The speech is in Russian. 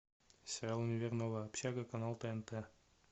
сериал универ новая общага канал тнт